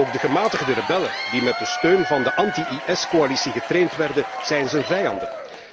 Ook de gematigde rebellen, die met de steun van de anti IS coalitie getraind werden, zijn zijn vijanden.